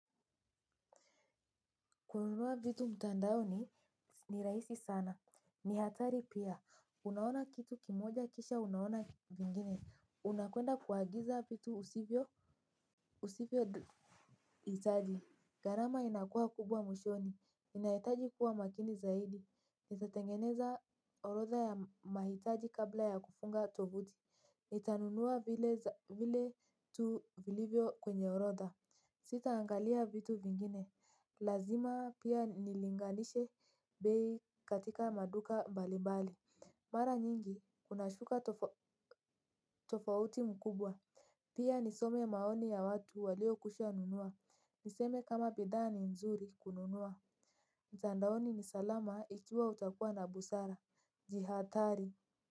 Kununua vitu mtandaoni ni rahisi sana. Ni hatari pia, unaona kitu kimoja kisha unaona vingine. Unakwenda kuagiza vitu usivyo itaji. Gharama inakua kubwa mwishoni, inaitaji kuwa makini zaidi. Nitatengeneza orotha ya mahitaji kabla ya kufunga tovuti nitanunua vile tu vilivyo kwenye orodha. Sita angalia vitu vingine. Lazima pia nilinganishe bei katika maduka mbalimbali. Mara nyingi kuna shuka tofauti mkubwa pia nisome maoni ya watu waliokwisha nunua. Niseme kama bidhaa ni nzuri kununua. Mtandaoni ni salama ikiwa utakuwa na busara. Jihathari.